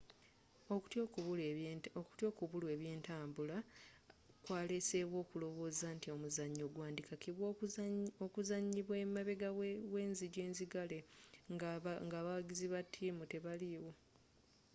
okutya okubulwa ebyentambula kwaleesewo okulowooza nti omuzannyo gwandikakibwa okuzanyibwa emabega w'enzigi enzigale ng'abawagizi ba ttiimu tebaliwo